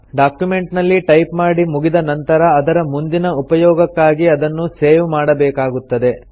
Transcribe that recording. document ನಲ್ಲಿ type ಮಾಡಿ ಮುಗಿದ ನಂತರ ಅದರ ಮುಂದಿನ ಉಪಯೋಗಕ್ಕಾಗಿ ಅದನ್ನು ಸೇವ್ ಮಾಡಬೇಕಾಗುತ್ತದೆ